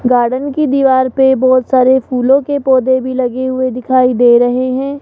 Garden की दीवार पे बहोत सारे फूलों के पौधे भी लगे हुए दिखाई दे रहे हैं।